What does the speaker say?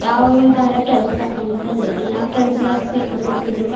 ಯಾವುದಾರ ಕೆಲ್ಸ್ ಹಾಕು ಅಂತ ಅಂದ್ರೆ ಯಾವ್ ಕೆಲ್ಸ್ ಕೆಲಸಕ್ ಸೇರಬೇಕು ಅಂದ್ರುವ --